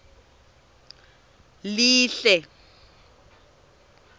lihle